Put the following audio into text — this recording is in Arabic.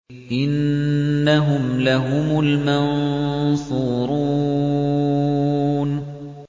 إِنَّهُمْ لَهُمُ الْمَنصُورُونَ